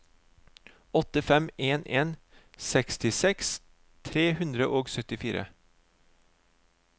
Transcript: åtte fem en en sekstiseks tre hundre og syttifire